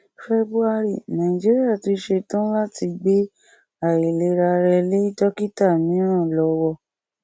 february nàìjíríà tún setán láti gbé àìlera rẹ lé dókítà míràn lọwọ